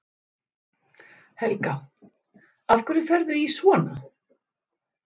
Helga: Af hverju ferðu í svona?